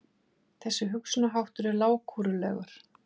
Þessi hugsunarháttur er lágkúrulegur!